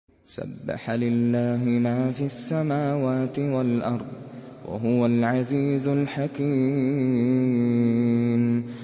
سَبَّحَ لِلَّهِ مَا فِي السَّمَاوَاتِ وَالْأَرْضِ ۖ وَهُوَ الْعَزِيزُ الْحَكِيمُ